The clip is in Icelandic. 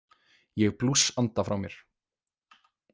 Ég blússanda frá mér.